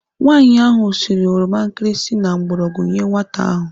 Nwaanyi ahụ siri oroma nkirisi na mgbọrọgwụ nyee nwata ahụ.